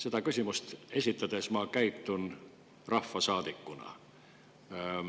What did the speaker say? Seda küsimust esitades käitun ma rahvasaadikuna.